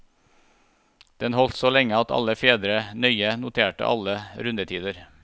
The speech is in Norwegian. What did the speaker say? Den holdt så lenge alle fedre nøye noterte alle rundetider.